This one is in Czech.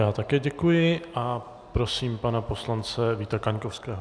Já také děkuji a prosím pana poslance Víta Kaňkovského.